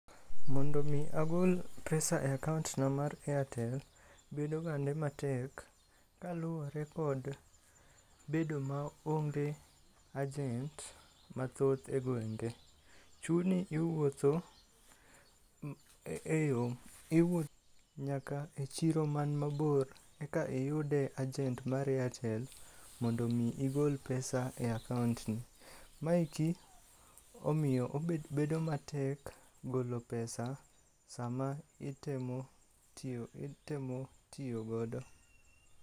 Mondo mi agol pesa e akaont na mar Airtel, bedo gande matek kaluwore kod bedo maonge ajent mathoth e gwenge. Chuni iwuotho e yo, iwu nyaka e chiro man mabor eka iyude ajent mar Airtel mondo mi igol pesa e akaont ni. Maeki omiyo obed, bedo matek golo pesa sama itemo tiyo, itemo tiyo godo.